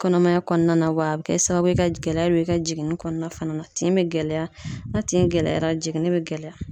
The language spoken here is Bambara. Kɔnɔmaya kɔnɔna wa a bɛ kɛ sababu ye ka gɛlɛya bɛ i ka jiginni kɔnɔna fana na tin bɛ gɛlɛya na tin gɛlɛyara jiginni bɛ gɛlɛya.